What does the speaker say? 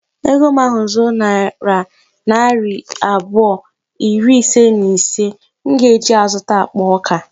Ego m ahu zuo nayira narị abụọ iri ise na ise, m ga eji ya zụta akpa ọka